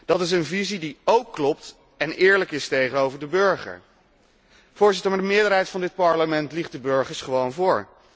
Dat is een visie die ook klopt en eerlijk is tegenover de burger. Maar de meerderheid van dit Parlement liegt de burgers gewoon voor.